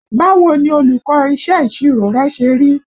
Báwo ni olùkọ́ iṣẹ́ ìṣirò rẹ ṣe rí?